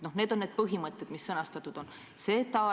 Need on need põhimõtted, mis sõnastatud on.